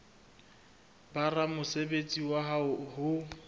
ba ramosebetsi wa hao ho